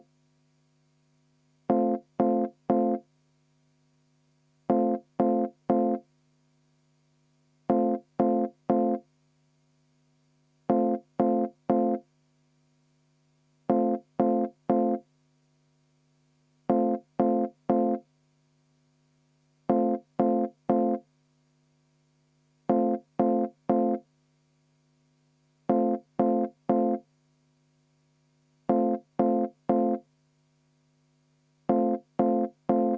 Vaheaeg 10 minutit.